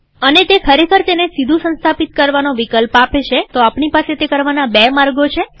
અને તે ખરેખર તેને સીધું સંસ્થાપિત કરવાનો વિકલ્પ આપે છેતો આપણી પાસે તે કરવાના બે માર્ગો છે